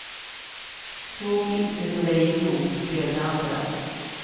Såg inte hur de gick ihop och blev det andra.